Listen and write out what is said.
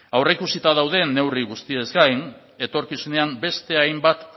aurreikusita daude neurri guztiez gain etorkizunean beste hainbat